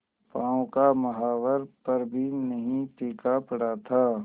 पांव का महावर पर भी नहीं फीका पड़ा था